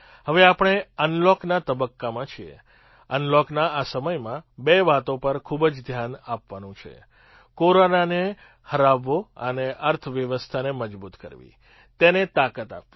હવે આપણે અનલૉકના તબક્કામાં છીએ અનલૉકના આ સમયમાં બે વાતો પર ખૂબ જ ધ્યાન આપવાનું છે કોરોનાને હરાવવો અને અર્થવ્યવસ્થાને મજબૂત કરવી તેને તાકાત આપવી